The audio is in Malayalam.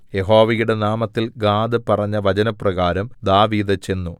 യഹോവയുടെ നാമത്തിൽ ഗാദ് പറഞ്ഞ വചനപ്രകാരം ദാവീദ് ചെന്നു